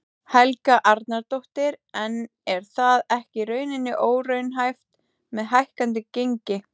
Helga Arnardóttir: En er það ekki í rauninni óraunhæft með hækkandi gengi?